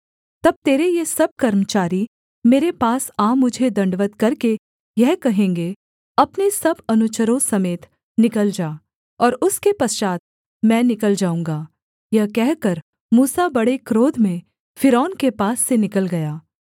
तब तेरे ये सब कर्मचारी मेरे पास आ मुझे दण्डवत् करके यह कहेंगे अपने सब अनुचरों समेत निकल जा और उसके पश्चात् मैं निकल जाऊँगा यह कहकर मूसा बड़े क्रोध में फ़िरौन के पास से निकल गया